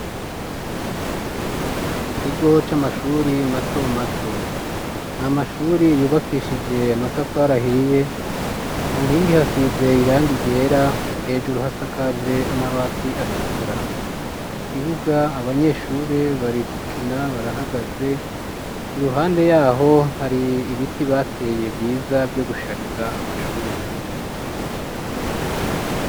Ikigo c'amashuri mato mato amashuri yubakishije amatafarahiye ku nkingi hasize iranga iryera hejuru hasakaje amabati atukura ikibuga abanyeshuri barikukina barahagaze iruhande yaho hari ibiti bateye vyiza vyo gushariza amashuri.